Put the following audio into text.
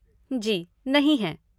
जी, नहीं हैं।